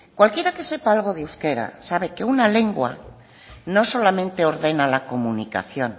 cualquiera que sepa algo de euskera sabe que una lengua no solamente ordena la comunicación